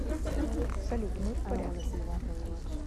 салют мы в порядке